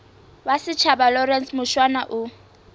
wa setjhaba lawrence mushwana o